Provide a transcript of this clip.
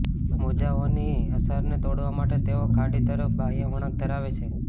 મોજાઓની અસરને તોડવા માટે તેઓ ખાડી તરફ બાહ્ય વળાંક ધરાવે છે